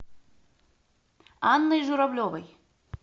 анной журавлевой